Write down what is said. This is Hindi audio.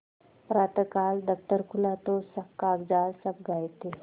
प्रातःकाल दफ्तर खुला तो कागजात सब गायब थे